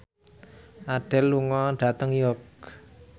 Adele lunga dhateng York